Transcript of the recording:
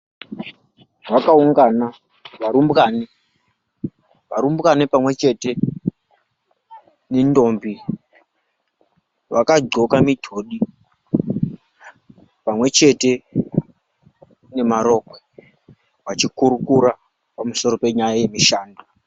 Vakaungana varumbwana, varumbwana pamwechete nentombi vakadxloka mitodi pamwechete nemarokwe, vachikurukura pamusoro penyaya yemushando.